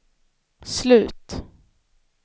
slut